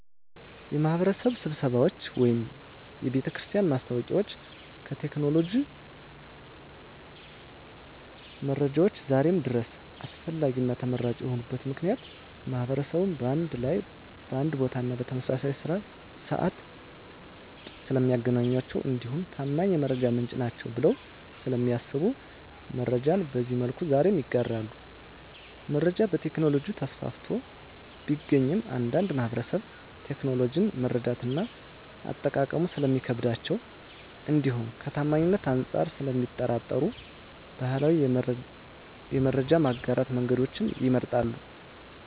የማህበረሰብ ስብሰባዎች ወይም የቤተክርስቲያን ማስታወቂያዎች ከቴክኖሎጂ መረጃዎች ዛሬም ድረስ አስፈላጊና ተመራጭ የሆኑበት ምክንያት ማህበረሰቡን በአንድ ላይ በአንድ ቦታና በተመሳሳይ ስዓት ስለሚያገኟቸው እንዲሁም ታማኝ የመረጃ ምንጭ ናቸዉ ብለው ስለሚያስቡ መረጃን በዚህ መልኩ ዛሬም ይጋራሉ። መረጃ በቴክኖሎጂ ተስፋፍቶ ቢገኝም አንዳንድ ማህበረሰብ ቴክኖሎጂውን መረዳትና አጠቃቀሙ ስለሚከብዳቸው እንዲሁም ከታማኝነት አንፃር ስለሚጠራጠሩ ባህላዊ የመረጃ የማጋራት መንገዶችን ይመርጣሉ።